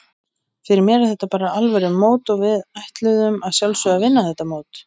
Fyrir mér er þetta alvöru mót og við ætluðum að sjálfsögðu að vinna þetta mót.